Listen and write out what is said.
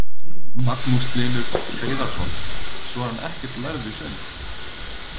Magnús Hlynur Hreiðarsson: Svo er hann ekkert lærður í söng?